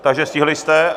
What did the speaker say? Takže stihli jste.